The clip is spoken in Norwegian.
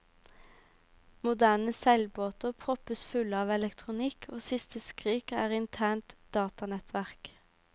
Moderne seilbåter proppes fulle av elektronikk, og siste skrik er internt datanettverk.